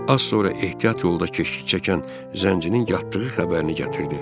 Az sonra ehtiyat yolda keşlik çəkən zəncirin yatdığı xəbərini gətirdi.